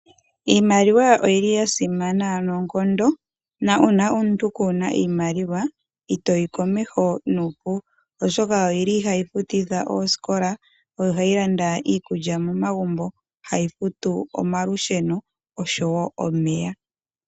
Iimaliwa oyili yasimana noonkondo na una omuntu kuuna iiimaliwa itoyi komesho nuupu oshoka oyili hayi futithwa oskola oyo hayi landa iikulya momagumbo Hayi futu omalusheno oshowo omeya.